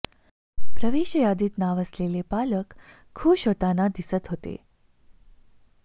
प्रवेश यादीत नाव आलेले पालक खूश होताना दिसत होते